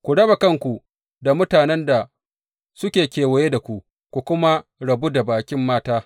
Ku raba kanku da mutanen da suke kewaye da ku, ku kuma rabu da baƙin mata.